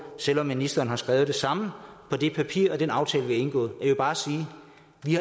selv om ministeren har skrevet det samme på det papir og i den aftale vi har indgået og jeg vil bare sige